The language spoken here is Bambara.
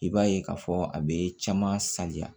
I b'a ye k'a fɔ a bɛ caman sanya